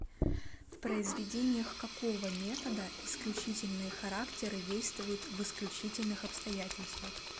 в произведениях какого метода исключительные характеры действуют в исключительных обстоятельствах